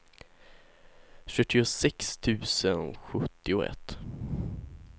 sjuttiosex tusen sjuttioett